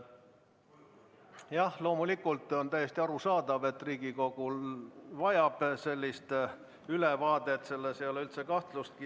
Jah, loomulikult on täiesti arusaadav, et Riigikogu vajab sellist ülevaadet, selles ei ole üldse kahtlustki.